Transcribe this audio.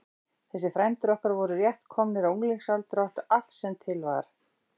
Þessir frændur okkar voru rétt komnir á unglingsaldur og áttu allt sem til var.